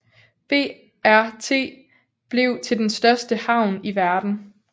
BRT blev til den største havn i verden